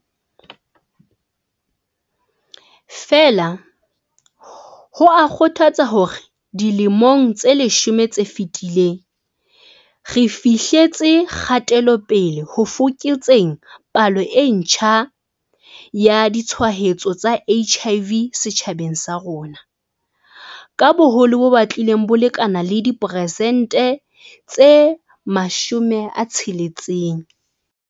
Feela, ho a kgothatsa hore dilemong tse leshome tse fetileng re fihletse kgate-lopele ho fokotseng palo e ntjha ya ditshwaetso tsa HIV setjhabeng sa rona ka boholo bo batlileng bo lekana le diperesente tse 60.